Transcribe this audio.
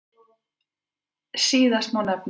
Síðastan má nefna föður